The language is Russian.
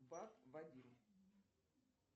бак вадим